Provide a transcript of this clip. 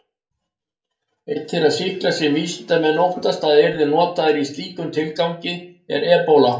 Einn þeirra sýkla sem vísindamenn óttast að yrði notaður í slíkum tilgangi er ebóla.